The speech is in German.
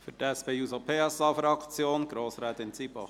Für die SP-JUSO-PSA-Fraktion: Grossrätin Zybach.